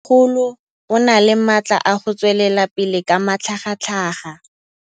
Mmêmogolo o na le matla a go tswelela pele ka matlhagatlhaga.